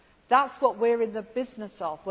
That is what we are in the business of.